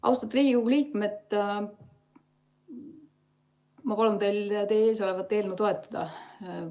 Austatud Riigikogu liikmed, ma palun teil teie ees olevat eelnõu toetada.